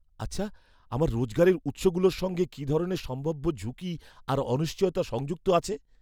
আচ্ছা, আমার রোজগারের উৎসগুলোর সঙ্গে কী ধরনের সম্ভাব্য ঝুঁকি আর অনিশ্চয়তা সংযুক্ত আছে?